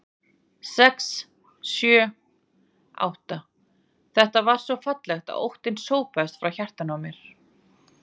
sex. sjö. átta. þetta var svo fallegt að óttinn sópaðist frá hjartanu á mér.